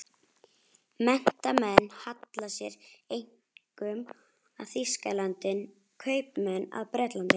Menntamenn halla sér einkum að Þýskalandi, en kaupmenn að Bretlandi.